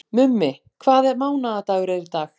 Mummi, hvaða mánaðardagur er í dag?